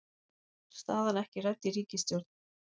Staðan ekki rædd í ríkisstjórn